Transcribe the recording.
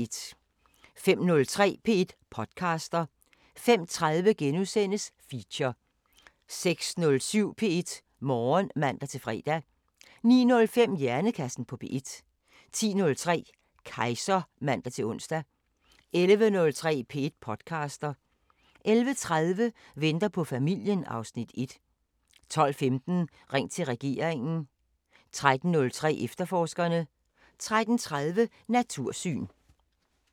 05:03: P1 podcaster 05:30: Feature * 06:07: P1 Morgen (man-fre) 09:05: Hjernekassen på P1 10:03: Kejser (man-ons) 11:03: P1 podcaster 11:30: Venter på familien (Afs. 1) 12:15: Ring til regeringen 13:03: Efterforskerne 13:30: Natursyn